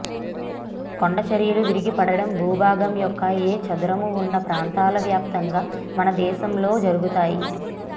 కొండ చరియలు విరిగి పడడం భూభాగం యొక్క ఏ చదరము ఉన్న ప్రాంతాల వ్యాప్తంగా మన దేశంలో జరుగుతాయి